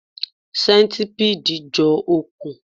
Sẹ́ńtipiidi jọ òkun